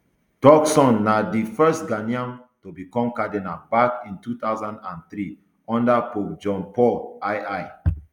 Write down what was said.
turkson na di first ghanaian to become cardinal back in two thousand and three unda pope john paul ii